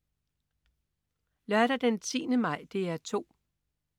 Lørdag den 10. maj - DR 2: